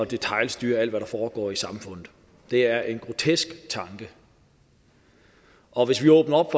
detailstyre alt hvad der foregår i samfundet det er en grotesk tanke og hvis vi åbner op